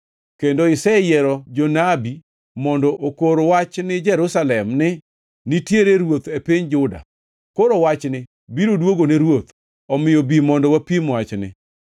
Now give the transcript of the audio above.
kendo iseyiero jonabi mondo okor wachni Jerusalem ni, ‘Nitiere ruoth e piny Juda!’ Koro wachni biro dwogone ruoth; omiyo bi, mondo wapim wachni.”